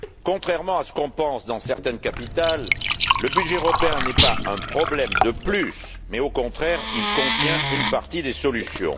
Contrairement à ce qu'on pense dans certaines capitales, le budget européen n'est pas un problème de plus mais, au contraire, il contient une partie des solutions.